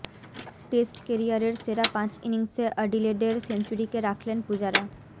test কেরিয়ারের সেরা পাঁচ ইনিংসে অ্যাডিলেডের সেঞ্চুরিকে রাখলেন পূজারা